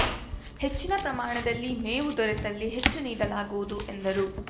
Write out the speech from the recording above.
ಹೆಚ್ಚಿನ ಪ್ರಮಾಣದಲ್ಲಿ ಮೇವು ದೊರೆತಲ್ಲಿ ಹೆಚ್ಚು ನೀಡಲಾಗುವುದು ಎಂದರು